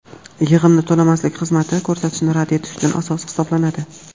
Yig‘imni to‘lamaslik xizmat ko‘rsatishni rad etish uchun asos hisoblanadi.